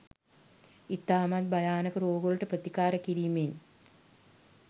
ඉතාමත් භයානක රෝගවලට ප්‍රතිකාර කිරීමෙන්